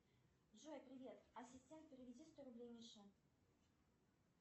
джой привет ассистент переведи сто рублей мише